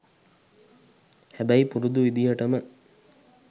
හැබැයි පුරුදු විදිහටම